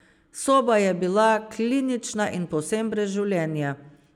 Soba je bila klinična in povsem brez življenja.